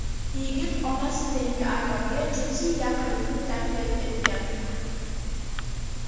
Yigit onasi tengi ayolga jinsiy yaqinlikni taklif etgan.